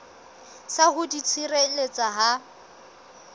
sa ho di tshireletsa ha